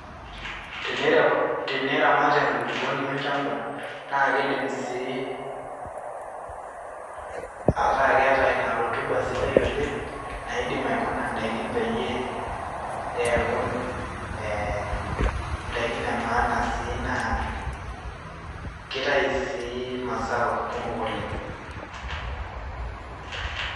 Teniramat enkulukuoni olchamba naa kidim sii ataa keeta ina rotuba sidai oleng. Naidim aikuna in`daiki peyie eeku eee n`daikin e maana sii naa keitayu sii mazao kumok oleng.